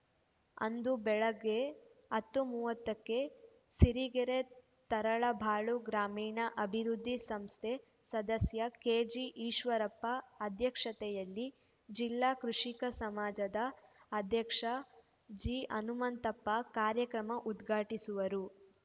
ಅಂದು ಬೆಳಗ್ಗೆ ಹತ್ತು ಮೂವತ್ತಕ್ಕೆ ಸಿರಿಗೆರೆ ತರಳಬಾಳು ಗ್ರಾಮೀಣ ಅಭಿವೃದ್ಧಿ ಸಂಸ್ಥೆ ಸದಸ್ಯ ಕೆಜಿಈಶ್ವರಪ್ಪ ಅಧ್ಯಕ್ಷತೆಯಲ್ಲಿ ಜಿಲ್ಲಾ ಕೃಷಿಕ ಸಮಜದ ಅಧ್ಯಕ್ಷ ಜಿಹನುಮಂತಪ್ಪ ಕಾರ್ಯಕ್ರಮ ಉದ್ಘಾಟಿಸುವರು